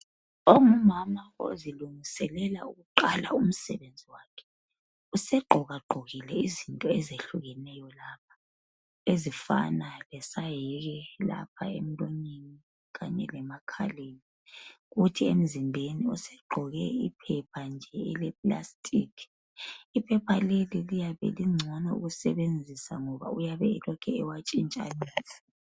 Ongumama ozilungiselela ukuqala umsebenzi wakhe usegqokagqokile izinto ezehlukeneyo lapha ezifana lesahike lapha emlonyeni kanye lemakhaleni. Kuthi emzimbeni usegqoke iphepha nje elepulasitiki iphepha leli liyabe lingcono ukusebenzisa ngoba uyabe elokhu ewatshintshanisa.